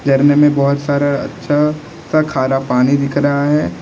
झरने में बहुत सारा अच्छा सा खारा पानी दिख रहा है।